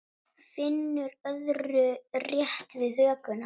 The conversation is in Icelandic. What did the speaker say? Finnur örðu rétt við hökuna.